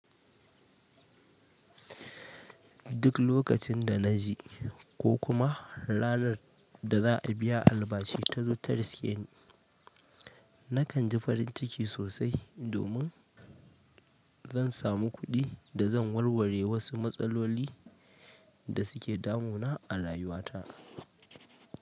Duk lokacin da na ji ko kuma ranar da za a biya albashi tun ta riske ni, nakan ji farin ciki sosai domin zan samu kuɗi da zan warware wasu matsaloli da suke damu na a rayuwa ta.